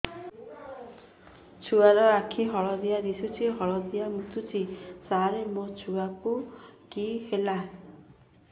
ଛୁଆ ର ଆଖି ହଳଦିଆ ଦିଶୁଛି ହଳଦିଆ ମୁତୁଛି ସାର ମୋ ଛୁଆକୁ କି ହେଲା